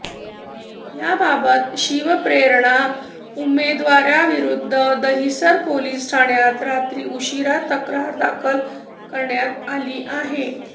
याबाबत शिवप्रेरणा उमेदवारांविरुद्ध दहिसर पोलीस ठाण्यात रात्री उशिरा तक्रार दाखल करण्यात आली आहे